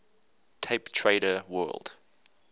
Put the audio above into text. tape trader world